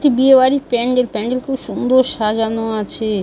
একটি বিয়ে বাড়ির প্যান্ডেল। প্যান্ডেল খুব সুন্দর সাজানো আছে।